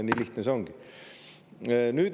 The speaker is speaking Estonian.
Nii lihtne see ongi.